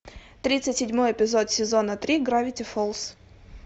тридцать седьмой эпизод сезона три гравити фолз